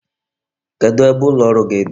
Kedu ebe ụlọ ọrụ gị dị?